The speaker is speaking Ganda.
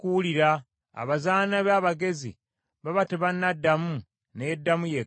Abazaana be abagezi baba tebanamuddamu ne yeddamu yekka.